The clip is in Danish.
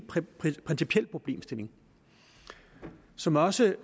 principiel problemstilling som også